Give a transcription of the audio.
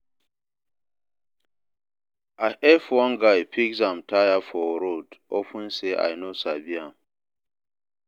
I help one guy fix im tyre for road upon sey I no sabi am.